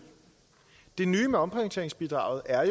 det nye med omprioriteringsbidraget er